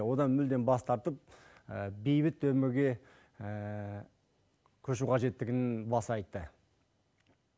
одан мүлдем бас тартып бейбіт өмірге көшу қажеттігін баса айтты